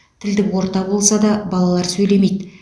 тілдік орта болса да балалар сөйлемейді